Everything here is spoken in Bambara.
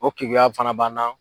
O keguya fana b'an na.